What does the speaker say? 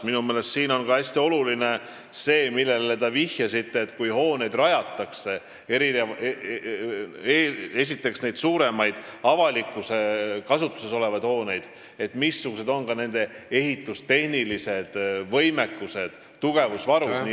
Minu meelest on hästi oluline see, millele te vihjasite, et kui rajatakse suuremaid avalikus kasutuses olevaid hooneid, siis missugune on nende ehitustehniline võimekus, tugevusvaru jne.